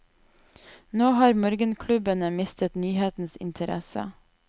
Nå har morgenklubbene mistet nyhetens interesse.